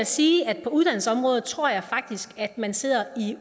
sige at på uddannelsesområdet tror jeg faktisk at man sidder i